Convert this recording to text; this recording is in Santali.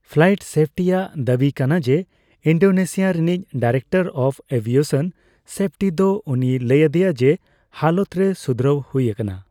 ᱯᱞᱟᱤᱴ ᱥᱮᱯᱴᱤ ᱭᱟᱜ ᱫᱟᱹᱵᱤ ᱠᱟᱱᱟ ᱡᱮ ᱤᱱᱰᱚᱥᱤᱭᱟ ᱨᱤᱱᱤᱡ ᱰᱟᱭᱨᱮᱠᱰᱚᱨ ᱟᱯᱷ ᱮᱵᱤᱮᱥᱚᱱ ᱥᱮᱯᱷᱴᱤ ᱫᱚ ᱩᱱᱤᱭ ᱞᱟᱹᱭ ᱟᱫᱮᱭᱟ ᱡᱮ ᱦᱟᱞᱚᱛ ᱨᱮ ᱥᱩᱫᱷᱨᱟᱹᱣ ᱦᱩᱭ ᱟᱠᱟᱱᱟ ᱾